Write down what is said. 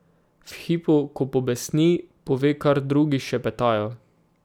V hipu, ko pobesni, pove, kar drugi šepetajo.